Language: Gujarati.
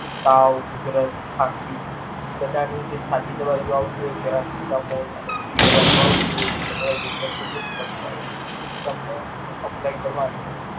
તાવ ઉધરસ ખાંસી બધા ની જે સાદી દવા જે આવતી હોઈ તેની જે બીજી આવતી હોઈ તે Perasitamall અને બીજી દવા આવતી હોઈ તે ડોક્ટર Suggest કરતા હોઈ એ તમને Apply કરવાની.